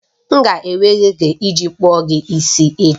M ga-enwe oge iji kpụọ gị isi echi